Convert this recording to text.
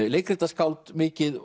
leikritaskáld mikið